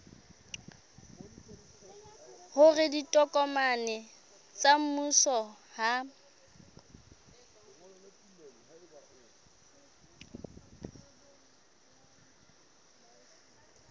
hore ditokomane tsa mmuso ha